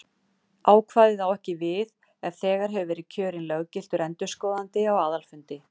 Ákvæðið á ekki við ef þegar hefur verið kjörinn löggiltur endurskoðandi á aðalfundi.